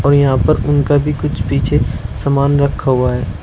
और यहां पर उनका भी कुछ पीछे सामान रखा हुआ है।